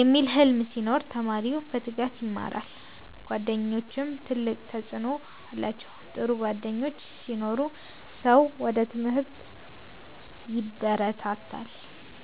የሚል ሕልም ሲኖር ተማሪው በትጋት ይማራል። ጓደኞችም ትልቅ ተጽዕኖ አላቸው፤ ጥሩ ጓደኞች ሲኖሩ ሰው ወደ ትምህርት ይበረታታል።